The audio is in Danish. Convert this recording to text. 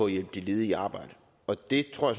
at hjælpe de ledige i arbejde og det tror